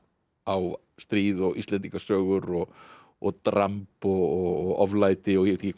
á stríð Íslendingasögur og og dramb og oflæti og ég veit ekki